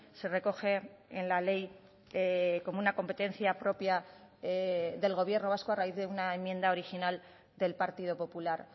se recoge en la ley como una competencia propia del gobierno vasco a raíz de una enmienda original del partido popular